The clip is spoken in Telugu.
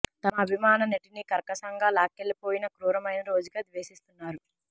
తమ అభిమాన నటిని కర్కశంగా లాక్కె ళ్లిపోయిన క్రూరమైన రోజుగా ద్వేషిస్తున్నారు